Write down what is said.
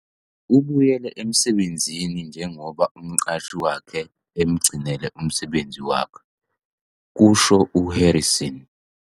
"Ubuyele emsebenzini njengoba umqashi wakhe emugcinele umsebenzi wakhe," kusho u-Harrison.